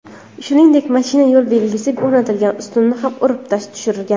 Shuningdek, mashina yo‘l belgisi o‘rnatilgan ustunni ham urib tushirgan.